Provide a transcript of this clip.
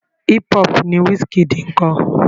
Hip hop ni Wizkid ń kọ.